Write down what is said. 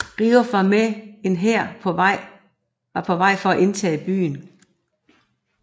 Riouf var med en hær var på vej for at indtage byen